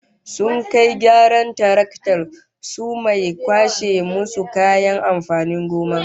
Sun kai gyaran taraktar su mai kwashe musu kayan amfanin gona